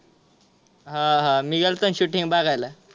हा हा मी गेल्तो ना shooting बघायला.